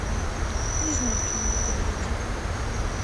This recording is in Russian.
не знаю о чем вы говорите